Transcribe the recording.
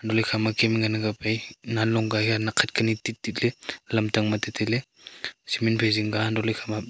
aley Kem e ekhama ngan ang kap ai nanlong ka haiya nakkhat kani tittitley lamtang ma tu tailey cement phai zingka untohley ekhama.